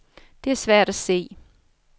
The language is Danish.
Det er svært at se.